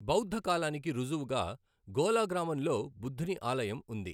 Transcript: బౌద్ధ కాలానికి ఋజువుగా గోలా గ్రామంలో బుద్ధుని ఆలయం ఉంది.